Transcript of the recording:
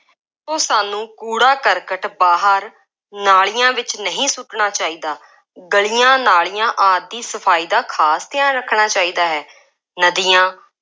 ਉਹ ਸਾਨੂੰ ਕੂੜਾ ਕਰਕਟ ਬਾਹਰ ਨਾਲੀਆਂ ਵਿੱਚ ਨਹੀਂ ਸੁੱਟਣਾ ਚਾਹੀਦਾ। ਗਲੀਆਂ, ਨਾਲੀਆਂ ਆਦਿ ਦੀ ਸਫਾਈ ਦਾ ਖਾਸ ਧਿਆਨ ਰੱਖਣਾ ਚਾਹੀਦਾ ਹੈ।॥ ਨਦੀਆਂ